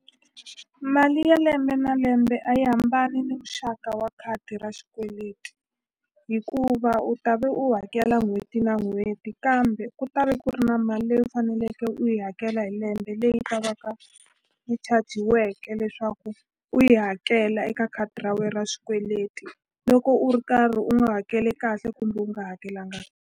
Mali ya lembe na lembe a yi hambani ni muxaka wa khadi ra xikweleti hikuva u ta ve u hakela n'hweti na n'hweti kambe ku ta ve ku ri na mali leyi u faneleke loko u yi hakela hi lembe leyi ta va ka yi chajiwake leswaku u yi hakela eka khadi ra we ra xikweleti loko u ri karhi u nga hakele kahle kumbe u nga hakelanga.